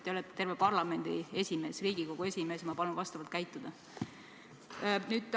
Te olete terve parlamendi esimees, Riigikogu esimees, ma palun vastavalt käituda!